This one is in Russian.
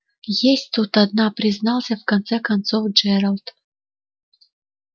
есть тут одна признался в конце концов джералд